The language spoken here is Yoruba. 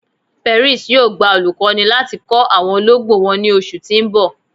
Perry's yóò gbà olùkọ́ni láti kọ awọn òlógbo wọn ni ọṣù tì n bọ̀.